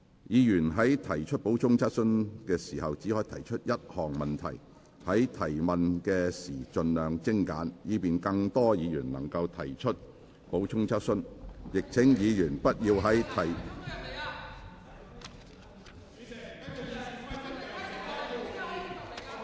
議員在提出補充質詢時只可提出一項問題，在提問時請盡量精簡，以便更多議員能提出補充質詢，亦請議員不要在......